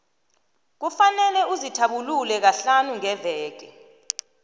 kufanele uzithabulule kahlanu ngeveke